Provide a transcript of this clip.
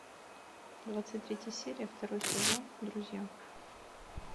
двадцать третья серия второй сезон друзья